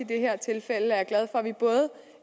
det her tilfælde er